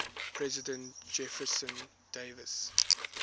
president jefferson davis